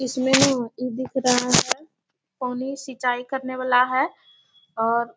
इसमें ना ई दिख रहा है। पानी सिंचाई करने वाला है और --